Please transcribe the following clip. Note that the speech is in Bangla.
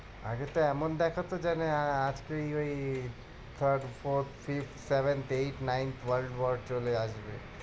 আগে তো এমন দেখাতো যে আমি আহ আজকে ওই ওই third, forth, fifth, seventh, eighth, ninth world war চলে আসবে।